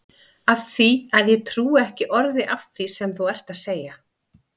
Af því að ég trúi ekki orði af því sem þú ert að segja.